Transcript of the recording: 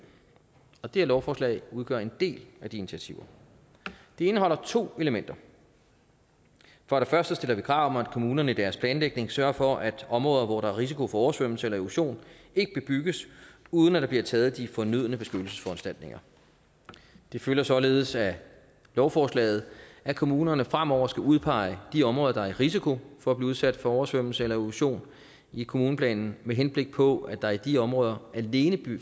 og det her lovforslag udgør en del af de initiativer det indeholder to elementer for det første stiller vi krav om at kommunerne i deres planlægning sørger for at områder hvor der er risiko for oversvømmelse eller erosion ikke bebygges uden at der bliver taget de fornødne beskyttelsesforanstaltninger det følger således af lovforslaget at kommunerne fremover skal udpege de områder der er i risiko for at blive udsat for oversvømmelse eller erosion i kommuneplanen med henblik på at der i de områder alene